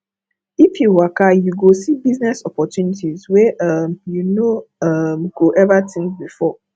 if you waka you go see business opportunity wey um you no um go ever think before